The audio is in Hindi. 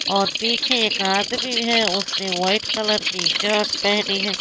और पीछे एक आदमी है उसने व्हाइट कलर की शर्ट पहनी है।